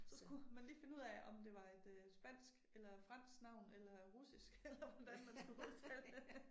Så skulle man lige finde ud af om det var et øh spansk eller fransk navn eller russisk eller hvordan man skulle udtale det